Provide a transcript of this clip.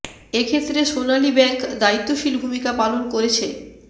এ ক্ষেত্রে সোনালী ব্যাংক দায়িত্বশীল ভূমিকা পালন করেছে